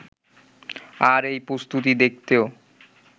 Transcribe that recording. আর এই প্রস্তুতি দেখতেও